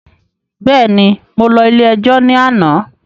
Bẹ́ẹ̀ni, mo lọ ilé ẹjọ́ ní àná